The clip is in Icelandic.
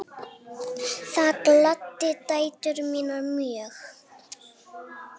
Það gladdi dætur mínar mjög.